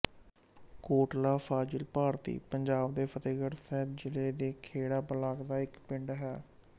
ਕੋਟਲਾ ਫ਼ਾਜ਼ਿਲ ਭਾਰਤੀ ਪੰਜਾਬ ਦੇ ਫ਼ਤਹਿਗੜ੍ਹ ਸਾਹਿਬ ਜ਼ਿਲ੍ਹੇ ਦੇ ਖੇੜਾ ਬਲਾਕ ਦਾ ਇੱਕ ਪਿੰਡ ਹੈ